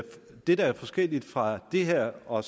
det der er forskelligt fra det her og